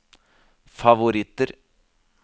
favoritter